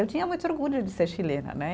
Eu tinha muito orgulho de ser chilena, né?